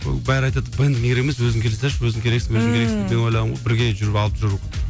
ы бәрі айтады бэндің керек емес өзің келе салшы өзің керексің өзің керексің мен ойлағанмын ғой бірге жүріп алып жүру